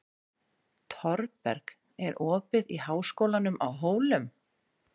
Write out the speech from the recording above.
Thorberg, er opið í Háskólanum á Hólum?